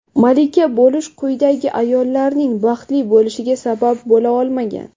Malika bo‘lish quyidagi ayollarning baxtli bo‘lishiga sabab bo‘la olmagan.